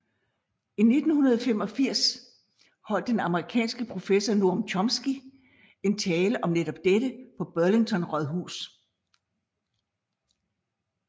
I 1985 holdt den amerikanske professor Noam Chomsky en tale om netop dette på Burlington Rådhus